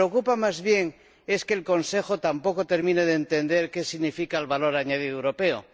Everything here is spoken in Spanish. que me preocupa, más bien, es que el Consejo tampoco termine de entender qué significa el valor añadido europeo.